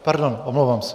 Pardon, omlouvám se.